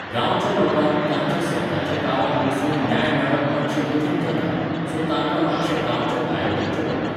गांवच्या लोकांक तांच्या स्वताच्या गांवांत बसून न्याय मेळप मातशें कठीण जाता, सो तांकां मातशें गांवच्या भायर वच्चें पडटा